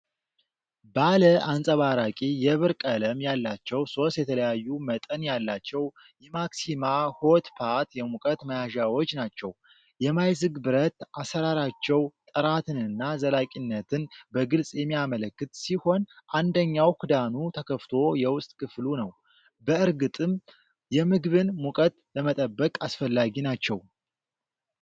ባለ አንጸባራቂ የብር ቀለም ያላቸው ሦስት የተለያዩ መጠን ያላቸው የማክሲማ 'ሆት ፖት' የሙቀት መያዣዎች ናቸው። የማይዝግ ብረት አሠራራቸው ጥራትንና ዘላቂነትን በግልጽ የሚያመለክት ሲሆን፣ አንደኛው ክዳኑ ተከፍቶ የውስጥ ክፍሉ ነው። በእርግጥም የምግብን ሙቀት ለመጠበቅ አስፈላጊ ናቸው።